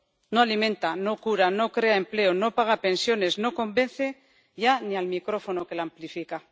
No alimenta, no cura, no crea empleo, no paga pensiones, no convence ya ni al micrófono que la amplifica.